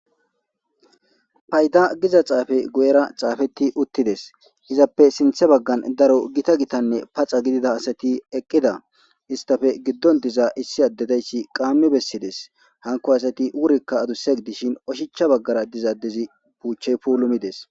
Fayd giz xaafey guuyera xaafetti uuttides iizappe sinththa baggan daro keehippe paxxa gidida asati eeqida istappe issi adde dayssi giddon diza qaammii bessides hanko asatii wuurekka addusse gidishin ooshshachcha baggara diza addezi buuchchey puulimides